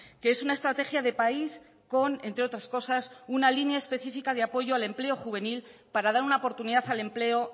que es una estrategia de país con entre otras cosas una línea específica de apoyo al empleo juvenil para dar una oportunidad al empleo